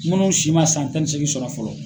Munnu si ma san tan ni seegin sɔrɔ fɔlɔ.